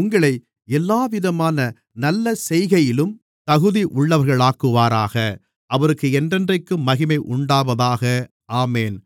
உங்களை எல்லாவிதமான நல்லசெய்கையிலும் தகுதி உள்ளவர்களாக்குவாராக அவருக்கு என்றென்றைக்கும் மகிமை உண்டாவதாக ஆமென்